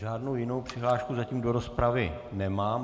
Žádnou jinou přihlášku zatím do rozpravy nemám.